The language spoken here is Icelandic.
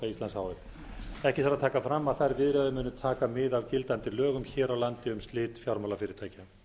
f ekki þarf að taka fram að þær viðræður munu taka mið af gildandi lögum hér á landi um slit fjármálafyrirtækja